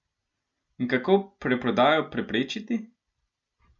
In kako preprodajo preprečiti?